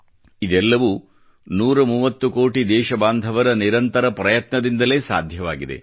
ಇದೆಲ್ಲವೂ 130 ಕೋಟಿ ದೇಶ ಬಾಂಧವರ ನಿರಂತರ ಪ್ರಯತ್ನದಿಂದಲೇ ಸಾಧ್ಯವಾಗಿದೆ